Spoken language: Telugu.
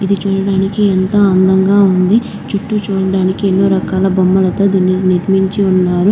ఇది చూడడానికి ఎంతో అందంగా ఉంది. చుట్టూ చూడడానికి ఎన్నో రకాల బొమ్మలతో దీన్ని నిర్మించి ఉన్నారు.